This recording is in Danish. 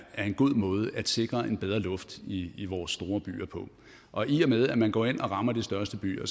en god måde at sikre en bedre luft i i vores store byer på og i og med at man går ind og rammer de største byer